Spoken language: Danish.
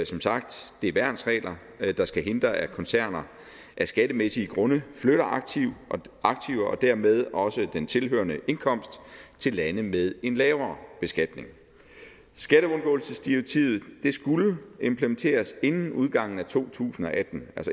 som sagt værnsregler der skal hindre at koncerner af skattemæssige grunde flytter aktiver og dermed også den tilhørende indkomst til lande med en lavere beskatning skatteundgåelsesdirektivet skulle implementeres inden udgangen af to tusind og atten